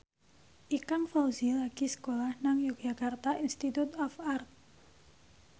Ikang Fawzi lagi sekolah nang Yogyakarta Institute of Art